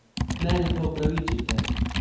Mene pa opravičite!